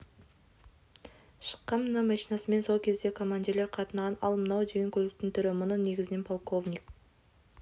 шыққан мына машинасымен сол кезде командирлер қатынаған ал мынау деген көліктің түрі мұны негізінен полковник